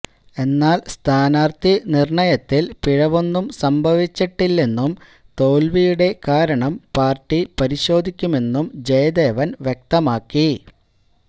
എന്നാല് സ്ഥാനര്ത്ഥി നിര്ണയത്തില് പിഴവൊന്നും സംഭവിച്ചിട്ടില്ലെന്നും തോല്വിയുടെ കാരണം പാര്ട്ടി പരിശോധിക്കുമെന്നും ജയദേവന് വ്യക്തമാക്കി